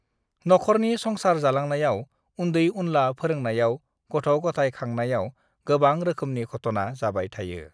नखरनि संसार जालांनायाव उन्दै-उनला फोरोंनायाव गथ'-गथाय खांनायाव गोबां रोखोमनि घटना जाबाय थायो।